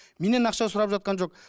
менен ақша сұрап жатқан жоқ